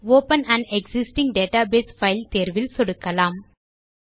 open on existing database file தேர்வில் சொடுக்கலாம்